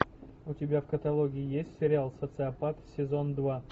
у тебя в каталоге есть сериал социопат сезон два